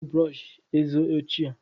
M ga-atụfu kontena brọsh eze ochie.